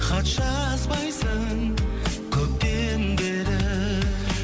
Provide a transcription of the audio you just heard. хат жазбайсың көптен бері